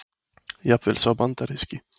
Jafnvel sá bandaríski.